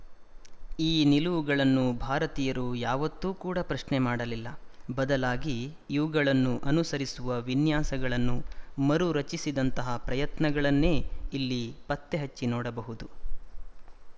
ಈ ನಿಲುವುಗಳನ್ನು ಭಾರತೀಯರು ಯಾವತ್ತೂ ಕೂಡ ಪ್ರಶ್ನೆ ಮಾಡಲಿಲ್ಲ ಬದಲಾಗಿ ಇವುಗಳನ್ನು ಅನುಸರಿಸುವ ವಿನ್ಯಾಸಗಳನ್ನು ಮರು ರಚಿಸಿದಂತಹ ಪ್ರಯತ್ನಗಳನ್ನೇ ಇಲ್ಲಿ ಪತ್ತೆಹಚ್ಚಿ ನೋಡಬಹುದು